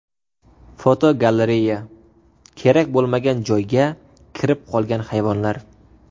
Fotogalereya: Kerak bo‘lmagan joyga kirib qolgan hayvonlar.